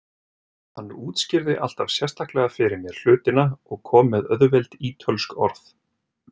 Hann útskýrði alltaf sérstaklega fyrir mér hlutina og kom með auðveld ítölsk orð.